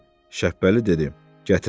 Şəppəli dedi: Gətirməzdi.